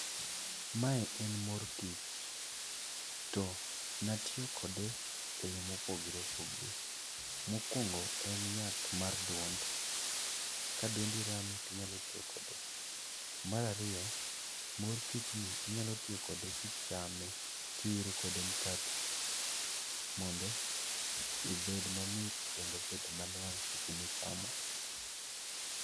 Mae en mor kich. To natiyo kode e yo mopogore opogore. Mokwongo en yath mad duond, ka duondi rami tinyalo tiyo kode. Mar ariyo, mor kichni inyalo tiyo kode kichame, kiwiro kode mkati mondo ibed mamit kendo obed manwang' seche michamo.